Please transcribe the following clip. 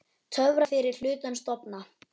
Töfrar fyrri hlutans dofna.